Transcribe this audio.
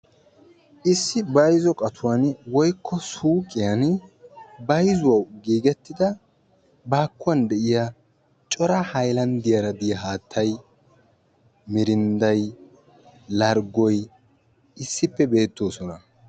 Issi bayzzo qatuwan woykko suuyqqiyan bayzuwawu giggettida baakkuwan de'iya cora haylanddiyara haattay, mirindday, larggoy issippe beettoosona.